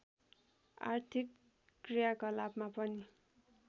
आर्थिक क्रियाकलापमा पनि